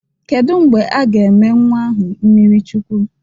Kedụ mgbe a ga-eme nnwa ahụ mmiri Chukwu?